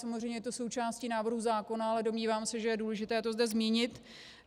Samozřejmě je to součástí návrhu zákona, ale domnívám se, že je důležité to zde zmínit.